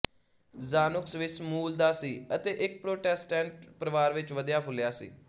Zanuck Swiss ਮੂਲ ਦਾ ਸੀ ਅਤੇ ਇੱਕ ਪ੍ਰੋਟੈਸਟੈਂਟ ਪਰਿਵਾਰ ਵਿੱਚ ਵਧਿਆ ਫੁੱਲਿਆ ਸੀ